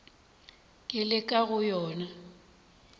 ke le ka go yona